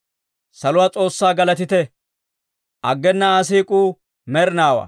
Saluwaa S'oossaa galatite! Aggena Aa siik'uu med'inaawaa.